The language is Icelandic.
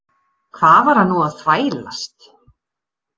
Hvað var hann nú að þvælast?